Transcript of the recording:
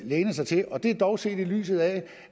lænet sig til det er dog set i lyset af